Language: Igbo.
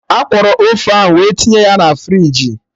Akwọrọ ose ahụ we tinye ya na friji